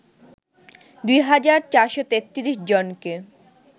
২ হাজার ৪৩৩ জনকে